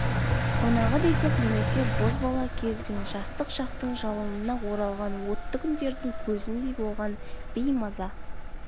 қонағы десек немесе бозбала кез бен жастық шақтың жалынына оралған отты күндердің көзіндей болған беймаза